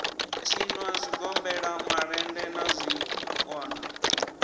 tshinwa zwigombela malende na zwikona